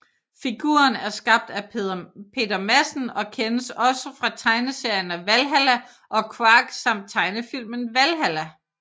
Figuren er skabt af Peter Madsen og kendes også fra tegneserierne Valhalla og Quark samt tegnefilmen Valhalla